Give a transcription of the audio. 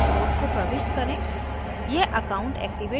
mobile पर भेजे गए code को प्रविष्ट करें